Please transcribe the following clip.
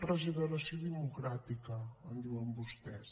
regeneració democràtica en diuen vostès